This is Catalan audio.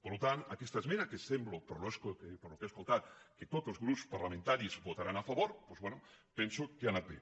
per tant aquesta esmena que sembla pel que he es·coltat que tots els grups parlamentaris votaran a fa·vor doncs bé penso que ha anat bé